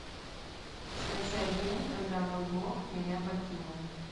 скачай день когда мой бог меня покинул